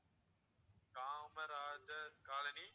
Kamarajar colony